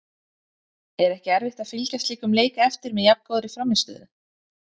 Er ekki erfitt að fylgja slíkum leik eftir með jafn góðri frammistöðu?